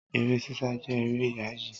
Eré sísá jẹ́ eré yááyì